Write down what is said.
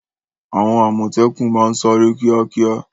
Àwọn àmọ̀tẹ́kùn máa ń sáré kíákíá.